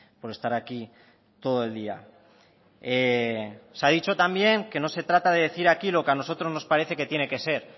por estar aquí todo el día se ha dicho también que no se trata de decir aquí lo que a nosotros nos parece que tiene que ser